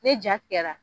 Ne jara